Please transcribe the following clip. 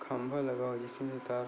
खंबा लगा हो जिसमे तार--